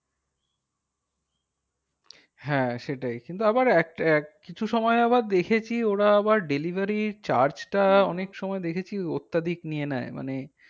হ্যাঁ সেটাই কিন্তু আবার কিছু সময় আবার দেখেছি ওরা আবার delivery charge টা অনেক সময় দেখেছি অত্যাধিক নিয়ে নেয় মানে